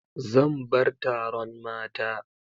Zan bar taron mata.